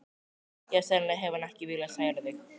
Já, sennilega hefur hann ekki viljað særa þig.